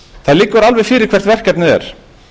það liggur alveg fyrir hvert verkefnið er